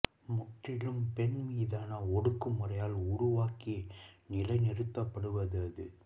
முற்றிலும் பெண்மீதான ஒடுக்குமுறையால் உருவாக்கி நிலைநிறுத்தப்படுவது அது